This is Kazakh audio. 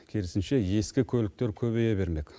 керісінше ескі көліктер көбейе бермек